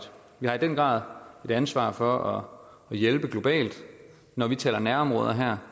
vi har i den grad et ansvar for at hjælpe globalt når vi taler om nærområder her